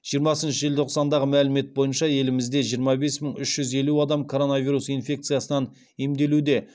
жиырмасыншы желтоқсандағы мәлімет бойынша елімізде жиырма бес мың үш жүз елу адам короновирус инфекциясынан емделуде